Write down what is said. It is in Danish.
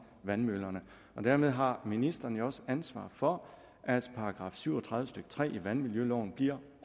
vandmøllerne dermed har ministeren jo også ansvar for at § syv og tredive stykke tre i vandmiljøloven bliver